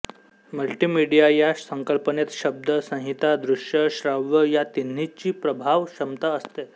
multimedia या संकल्पनेत शब्द संहिता दृश्य श्राव्य या तिन्हीची प्रभाव क्षमता असते